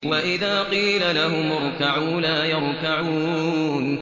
وَإِذَا قِيلَ لَهُمُ ارْكَعُوا لَا يَرْكَعُونَ